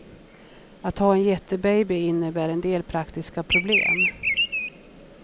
Att ha en jättebaby innebär en del praktiska problem.